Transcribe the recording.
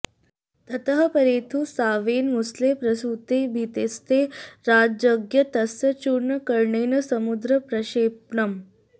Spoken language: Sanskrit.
ततः परेथुः सांवेन मुसले प्रसूते भीतैस्तै राजाज्ञया तस्य चूर्णकरणेन समुद्र प्रक्षेपणम्